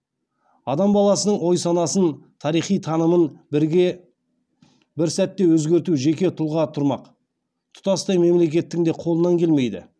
адам баласының ой санасын тарихи танымын бір сәтте өзгерту жеке тұлға тұрмақ тұтастай мемлекеттің де қолынан келмейді